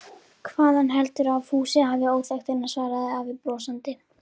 Hvaðan heldurðu að Fúsi hafi óþekktina? svaraði afi brosandi.